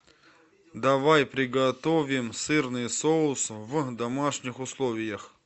давай приготовим сырный соус в домашних условиях